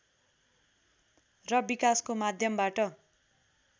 र विकासको माध्यमबाट